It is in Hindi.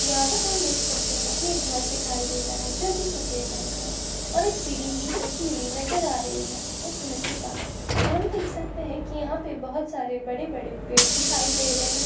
यहाँ पर हम देख सकते हैं की ये घर दिखाई दे रहा है जो कि सफ़ेद रंग का है और एक सीडी भी रखी हुई नजर आ रही है उस घर के पास और हम देख सकते है कि यहाँ पे बहोत सारे बड़े-बड़े पेड़ दिखाई दे रहे हैं।